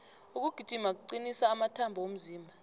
ukugijima kucnisa amathambo womzimba